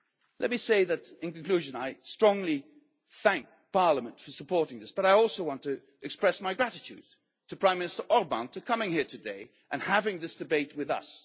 Let me say in conclusion that I strongly thank Parliament for supporting this, but I also want to express my gratitude to Prime Minister Orbán for coming here today and having this debate